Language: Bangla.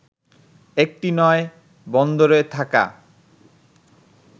একটি নয়, বন্দরে থাকা